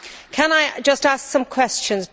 Can I just ask some questions?